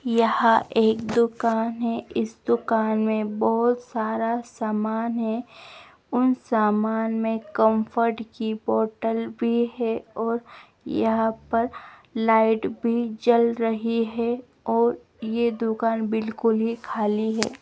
यहां एक दुकान है। इस दुकान में बहोत सारा सामान है। उन सामान में कम्फर्ट की बोटल भी है और यहां पर लाइट भी जल रही है और ये दुकान बिल्कुल ही खाली है।